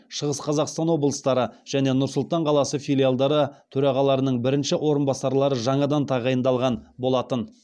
шығыс қазақстан облыстары және нұр сұлтан қаласы филиалдары төрағаларының бірінші орынбасарлары жаңадан тағайындалған болатын